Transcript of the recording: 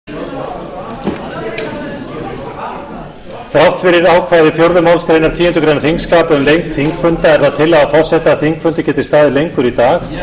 þrátt fyrir ákvæði fjórðu málsgreinar tíundu greinar þingskapa um lengd þingfunda er það tillaga forseta að þingfundur geti staðið lengur í dag eða þar til umræðu